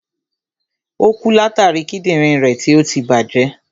Ò kú látàri Kídìnrín rẹ̀ tí ọtí tí bàjẹ́.